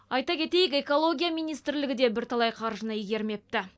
ай кетейік экология министрлігі де бірталай қаржыны игермепті